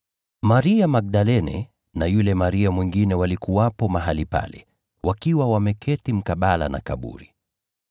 Maria Magdalene na yule Maria mwingine walikuwepo mahali pale, wakiwa wameketi mkabala na kaburi.